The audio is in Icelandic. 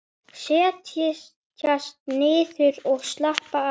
Setjast niður og slappa af.